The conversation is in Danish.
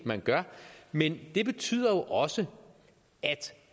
man gør men det betyder jo også at